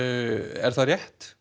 er það rétt